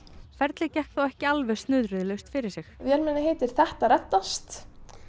ferlið gekk þó ekki alveg snurðulaust fyrir sig vélmennið heitir þetta reddast